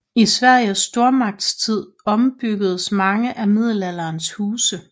I Sveriges stormagtstid ombyggedes mange af middelalderens huse